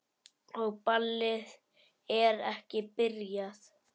Og ballið er ekki byrjað.